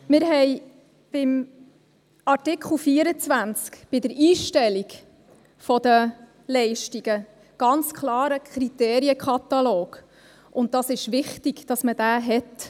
Wir haben in Artikel 24 bei der Einstellung der Leistungen ganz klar einen Kriterienkatalog, und es ist wichtig, dass man diesen hat.